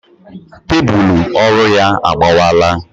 Tébulu ọrụ ya agbawala